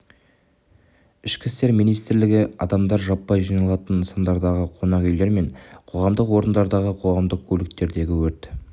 ішкі істер министрлігі адамдар жаппай жиналатын нысандардағы қонақ үйлер мен қоғамдық орындардағы қоғамдық көліктердегі өрт